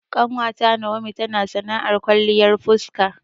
Ƙanwata Nawomi tana sana'ar kwalliyar fuska